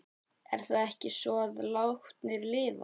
Er það ekki svo að látnir lifa?